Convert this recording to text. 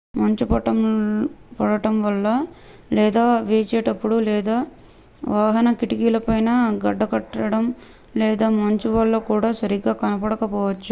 మంచు పడటం లేదా వీచేటప్పుడు లేదా వాహన కిటికీలపై గడ్డకట్టడం లేదా మంచు వల్ల కూడా సరిగ్గా కనపడక పోవచ్చు